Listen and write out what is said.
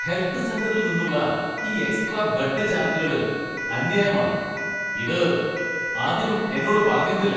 Health സെന്ററിൽ നിന്നുള്ള ഈ എക്സ്ട്രാ ബെഡ് ചാർജ്ജുകള് അന്യായമാണ്. ഇത് ആദ്യം എന്നോട് പറഞ്ഞിരുന്നില്ല.